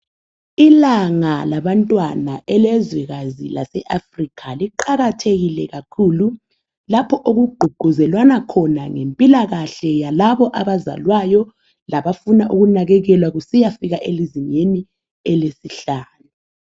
Ilanga labantwana elezwekazi le Africa liqakathekile kakhulu lapho okugqugquzelwana khona ngempilakahle yalabo abazalwayo labafuna ukunakakelwa kusiyafika elizingeni elesihlanu